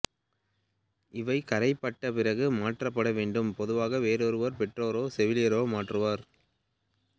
இவை கறைபட்ட பிறகு மாற்றப்பட வேண்டும் பொதுவாக வேறொருவர் பெற்றோரோ செவிலியரோ மாற்றுவர்